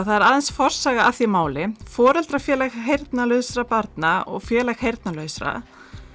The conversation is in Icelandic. það er aðeins forsaga að því máli foreldrafélag heyrnarlausra barna og Félag heyrnarlausra